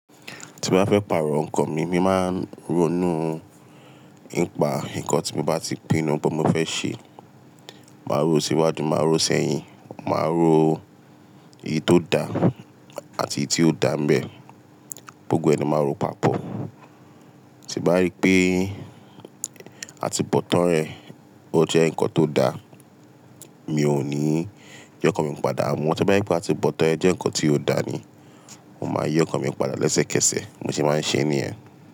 Tí bá fẹ́ pààrọ̀ nǹkan mi, mi máa ń ronú ńipa nǹkan tí mo bá ti pinnu bó mo fẹ́ ṣe, màá rò ó síwájú, màá rò ó sẹ́yìn, màá rò ó iyi tó dá àti iyi tí ó dà ń bẹ. Gbogbo ẹni máa ń rò papọ̀. Tí bá rí pé àtíbọ̀tán rẹ̀ ó jẹ́ nǹkan tó dá, mi ò ní yii ọ́kàn mi padà. Wọ́n tí o bá je pé àtíbọ̀tán ẹ jẹ́ nǹkan tí ó dá ni, wọ́n máa yii ọ́kàn mi padà Iẹ̀ṣẹ́kẹ̀sẹ̀ bi mo se máa ń ṣe é ní ẹ.